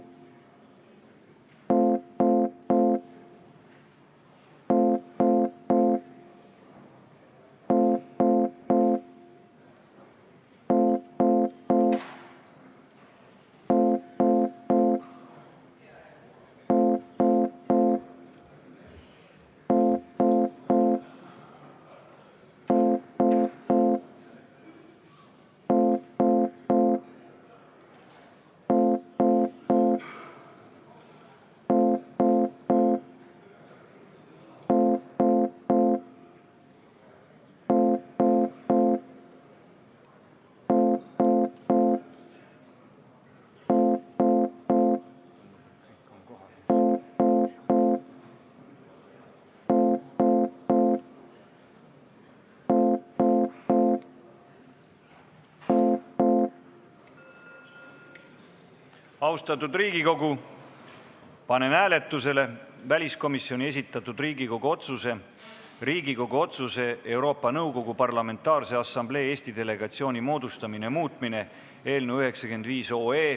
Austatud Riigikogu, panen hääletusele väliskomisjoni esitatud Riigikogu otsuse "Riigikogu otsuse "Euroopa Nõukogu Parlamentaarse Assamblee Eesti delegatsiooni moodustamine" muutmine" eelnõu 95.